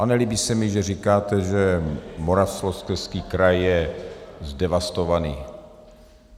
A nelíbí se mi, že říkáte, že Moravskoslezský kraj je zdevastovaný.